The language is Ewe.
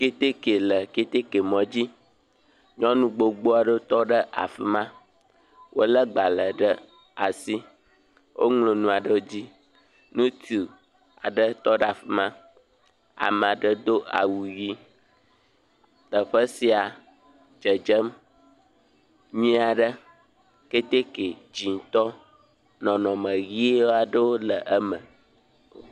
keteke le keteke mɔdzi, nyɔnu gbogbowo le afi ma, wolé agbalẽ ɖe asi, woŋlɔ nu aɖe ɖi ŋutsu aɖe tɔ ɖe afi ma ame aɖe do awu ʋi, teƒe sia le dzedzem nyuie aɖe, keteke dzɛ̃tɔ, nɔnɔmeʋi aɖewo le eme.